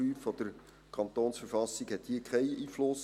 Artikel 5 KV hat hier keinen Einfluss.